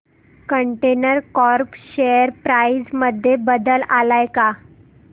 container corp share price मध्ये बदल आलाय का